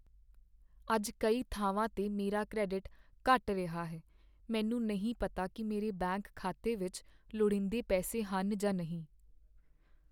ਅੱਜ ਕਈ ਥਾਵਾਂ 'ਤੇ ਮੇਰਾ ਕਰੈਡਿਟ ਘਟ ਰਿਹਾ ਹੈ। ਮੈਨੂੰ ਨਹੀਂ ਪਤਾ ਕੀ ਮੇਰੇ ਬੈਂਕ ਖਾਤੇ ਵਿੱਚ ਲੋੜੀਂਦੇ ਪੈਸੇ ਹਨ ਜਾਂ ਨਹੀਂ।